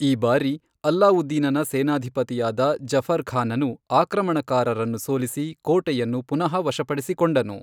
ಈ ಬಾರಿ, ಅಲ್ಲಾವುದ್ದೀನನ ಸೇನಾಧಿಪತಿಯಾದ ಜಫರ್ ಖಾನನು ಆಕ್ರಮಣಕಾರರನ್ನು ಸೋಲಿಸಿ ಕೋಟೆಯನ್ನು ಪುನಃ ವಶಪಡಿಸಿಕೊಂಡನು.